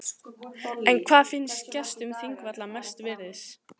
En hvað finnst gestum þingvalla mest virðis?